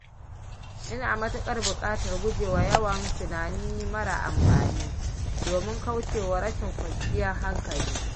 Ina matuƙar buƙatar guje wa yawan tunani mara amfani domin kauce wa rashin kwanciyar hankali.